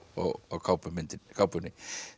kápunni kápunni